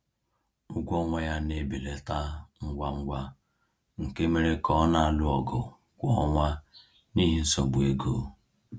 Ụgwọ ọnwa ya na-ebelata ngwa ngwa nke mere ka ọ na-alụ ọgụ kwa ọnwa n’ihi nsogbu ego.